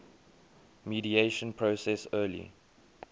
mediation process early